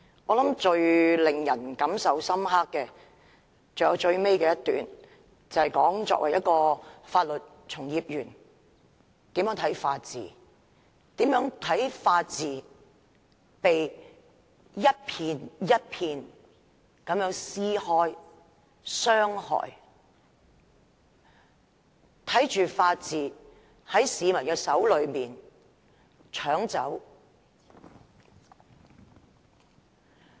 我想最令人感受深刻的是最後一段，那段談到作為法律從業員應如何看待法治，如何看待法治被一片、一片地撕開、被傷害，看着法治在市民的手中被搶走。